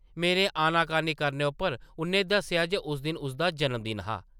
मेरे आना-कानी करने उप्पर उʼन्नै दस्सेआ जे उस दिन उसदा जन्म-दिन हा ।